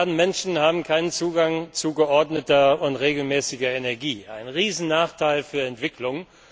gibt. Zwei Milliarden Menschen haben keinen Zugang zu geordneter und regelmäßiger Energie ein Riesennachteil für Entwicklung.